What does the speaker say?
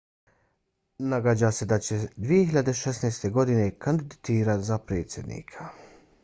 nagađa se da će se 2016. godine kandidirati za predsjednika